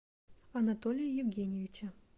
анатолия евгеньевича